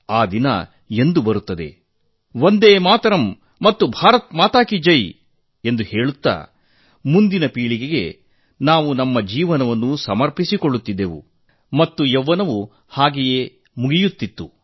ಅಲ್ಲದೆ ನಮ್ಮ ಜೀವನದಲ್ಲಿ ವಂದೇ ಮಾತರಂ ಮತ್ತು ಭಾರತ್ ಮಾತಾ ಕೀ ಜೈ ಎಂದು ಹೇಳುತ್ತಾ ಮುಂದಿನ ಪೀಳಿಗೆಗೆ ನಾವು ನಮ್ಮ ಜೀವ ಸಮರ್ಪಿಸಿಕೊಳ್ಳುವ ಆ ದಿನ ಎಂದು ಬರುತ್ತದೆ ಎಂದು ಮತ್ತು ನಮ್ಮ ಯೌವನವು ಹಾಗೆಯೇ ಕಳೆದುಹೋಗುತ್ತಿತ್ತು